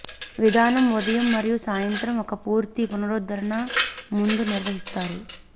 విధానం ఉదయం మరియు సాయంత్రం ఒక పూర్తి పునరుద్ధరణ ముందు నిర్వహిస్తారు